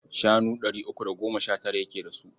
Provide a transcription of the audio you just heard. Shanu ɗari uku da goma sha tara yake da su.